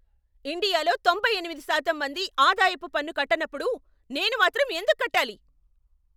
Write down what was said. ఇండియాలో తొంభై ఎనిమిది శాతం మంది ఆదాయపు పన్ను కట్టనప్పుడు నేను మాత్రం ఎందుకు కట్టాలి?